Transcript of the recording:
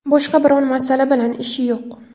Boshqa biron masala bilan ishi yo‘q.